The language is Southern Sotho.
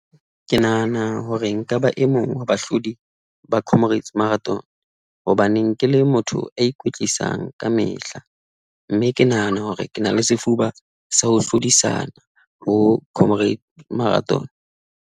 Ke nahana hore nka ba e mong wa bahlodi ba Comrades Marathon, hobaneng ke le motho a ikwetlisa kamehla mme ke nahana hore ke na le sefuba sa ho hlodisana ho Comrades Marathon.